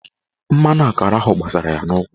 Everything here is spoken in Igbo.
Mmanụ akara ahụ gbasara ya n'ụkwụ.